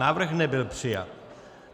Návrh nebyl přijat.